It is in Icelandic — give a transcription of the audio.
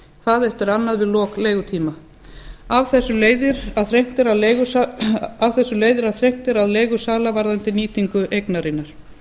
hvað eftir annað við lok leigutíma af þessu leiðir að þrengt er að leigusala varðandi nýtingu eignarinnar